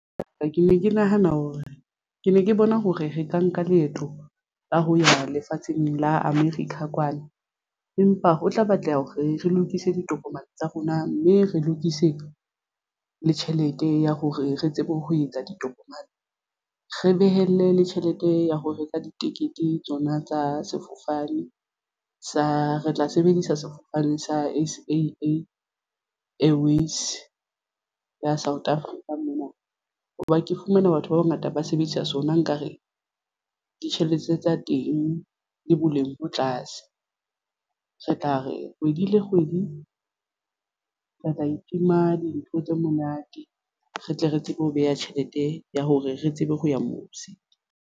Ke ne ke nahana hore ke ne ke bona hore re ka nka leeto la ho ya lefatsheng la America kwana, empa ho tla batleha hore re lokise ditokomane tsa rona mme re lokise le tjhelete ya hore re tsebe ho etsa ditokomane. Re behele le tjhelete ya ho reka ditekete tsona tsa sefofane sa Re tla sebedisa sefofane sa S_A_A Airways ya South Africa mono hoba ke fumana batho ba bangata ba sebedisa sona nkare ditjhelete tsa teng di boleng bo tlase. Re tla re kgwedi le kgwedi re tla itima dintho tse monate. Re tle re tsebe ho beha tjhelete ya hore re tsebe ho ya mose.